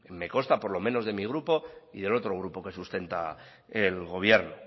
me consta por lo menos de mi grupo y del otro grupo que sustenta el gobierno